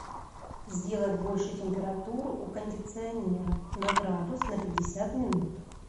сделать больше температуру у кондиционера на градус на пятьдесят минут